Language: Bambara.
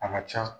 A ka can